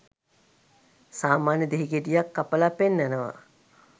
සාමාන්‍ය දෙහි ගෙඩියක් කපලා පෙන්නනවා